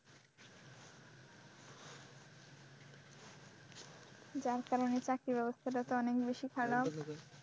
যার কারনে চাকরির ব্যবস্থাটা তো অনেক বেশি খারাপ।